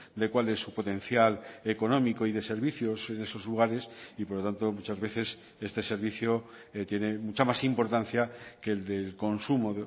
de cuál es su potencial económico y de servicios en esos lugares y por lo tanto muchas veces este servicio tiene mucha más importancia que el del consumo